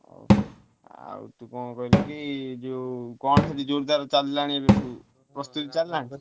ଆଉ ଆଉ ତୁ କଣ କହିଲୁ କି ଯୋଉ କଣ ସବୁ ଜୋରଦାର ଚାଲିଲାଣି ଏବେଠୁ ପ୍ରସ୍ତୁତି ଚାଲିଲାଣି?